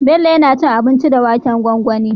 Bello yAna cin abinci da waken gwangwani